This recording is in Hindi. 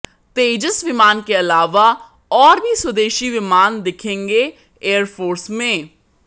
तेजस विमान के आलावा और भी स्वदेशी विमान दिखेंगे एयरफोर्स में